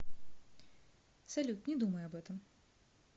салют не думай об этом